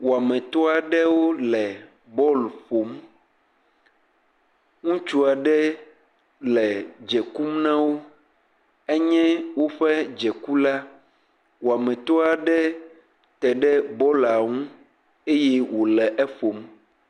Wɔmetɔ aɖewo le bɔl ƒom. Ŋutsu aɖee le dze kum na wo. Enye woƒe dzekula. Wɔmetɔ aɖe te ɖe bɔla ŋu eye wo le eƒom.